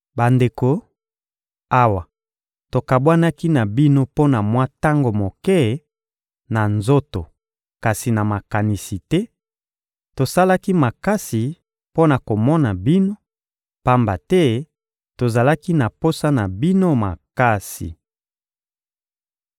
Bandeko, awa tokabwanaki na bino mpo na mwa tango moke, na nzoto kasi na makanisi te, tosalaki makasi mpo na komona bino, pamba te tozalaki na posa na bino makasi.